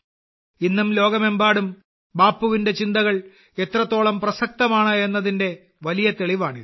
ഇന്നും ലോകമെമ്പാടും ബാപ്പുവിന്റെ ചിന്തകൾ എത്രത്തോളം പ്രസക്തമാണ് എന്നതിന്റെ വലിയ തെളിവാണിത്